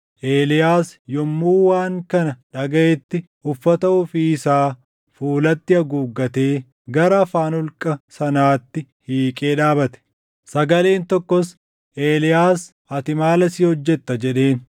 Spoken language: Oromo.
Eeliyaas yommuu waan kana dhagaʼetti uffata ofii isaa fuulatti haguuggatee gara afaan holqa sanaatti hiiqee dhaabate. Sagaleen tokkos, “Eeliyaas ati maal asii hojjetta?” jedheen.